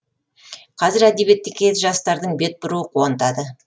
қазір әдебиетке жастардың бет бұруы қуантады